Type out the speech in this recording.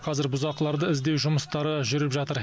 қазір бұзақыларды іздеу жұмыстары жүріп жатыр